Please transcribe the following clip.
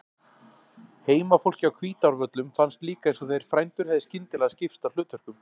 Heimafólki á Hvítárvöllum fannst líka eins og þeir frændur hefðu skyndilega skipt á hlutverkum.